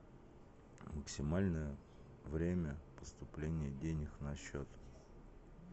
максимальное время поступления денег на счет